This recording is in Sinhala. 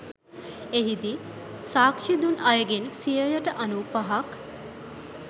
එහිදී සාක්ෂිදුන් අයගෙන් සියයට අනූපහක්